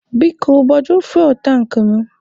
Biko, gbajuo fuwel tankị mụ.